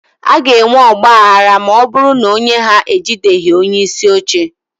a ga-enwe ọgba aghara ma ọ bụrụ na onye ha ejideghị onyeisi oche